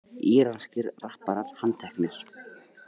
Íranskir rapparar handteknir